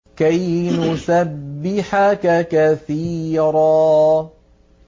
كَيْ نُسَبِّحَكَ كَثِيرًا